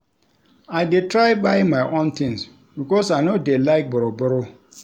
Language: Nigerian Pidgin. I dey try buy my own tins because I no dey like borrow-borrow.